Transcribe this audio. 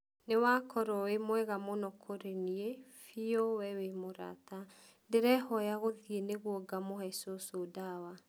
nĩwakorwo wĩmwega mũno kũrĩ niĩ, biũ we wĩmũrata. ndĩrehoya gũthiĩ nĩguo ngamũhe cucu ndawa